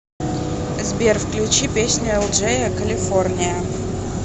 сбер включи песню элджея калифорния